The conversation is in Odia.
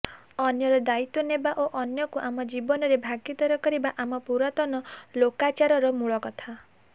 ଅନ୍ୟର ଦାୟିତ୍ବ ନେବା ଓ ଅନ୍ୟକୁ ଆମ ଜୀବନରେ ଭାଗୀଦାର କରିବା ଆମ ପୁରାତନ ଲୋକାଚାରର ମୂଳକଥା